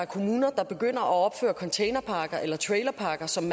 kommuner der begynder at opføre containerparker eller trailerparker som